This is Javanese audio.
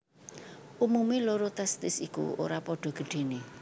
Umumé loro testis iku ora padha gedhené